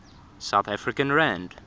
south african rand